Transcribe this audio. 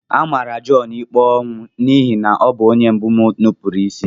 Amara Jọn ikpe ọnwụ n'ihi na ọ bụ onye mbụ nupụrụ isi.